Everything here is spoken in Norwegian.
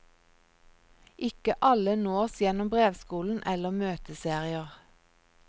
Ikke alle nås gjennom brevskolen eller møteserier.